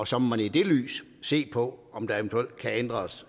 så må man i det lys se på om der eventuelt kan ændres